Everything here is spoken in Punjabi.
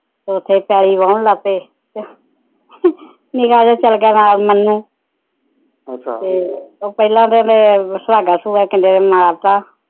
ਉਥੇ ਪੈਲੀ ਵਾਹੁਣ ਲੱਗ ਪੇ ਨਿਕਾ ਚੱਲ ਗਿਆ ਨਾਲ ਮੰਨੂੰ ਅੱਛਾ ਉਹ ਪਹਿਲਾ ਤੇ ਸੁਹਾਗਾ ਮਾਰਤਾ